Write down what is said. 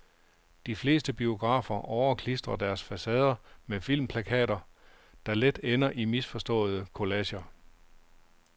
De fleste biografer overklistrer deres facader med filmplakater, der let ender i misforståede kollager.